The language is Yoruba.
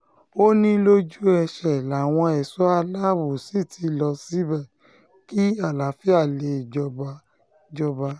ó ní lójú ẹsẹ̀ làwọn ẹ̀ṣọ́ aláàbò sì ti lọ síbẹ̀ kí àlàáfíà lè jọba jọba